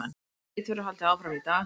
Leit verður haldið áfram í dag